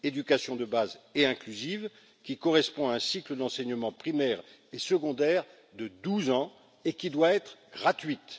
L'éducation de base et inclusive correspond au cycle d'enseignement primaire et secondaire de douze ans et doit être gratuite.